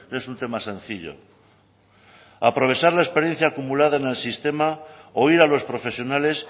es un tema sencillo aprovechar la experiencia acumulada en el sistema o ir a los profesionales